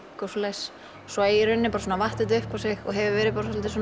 og svoleiðis svo í rauninni vatt þetta upp á sig og hefur verið